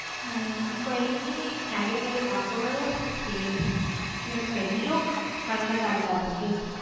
ਹਮ ਕੋਈ ਨਹੀਂ ਹੈਗੇ ਮੇਰੇ ਵਾਕਫ਼ ਤੇ ਤੁਸੀਂ ਮੈਨੂੰ ਮਿਲ ਲਇਓ ਤੇ madam ਨਾਲ ਗੱਲ ਕਰ ਦੇਵਾਂਗੀ।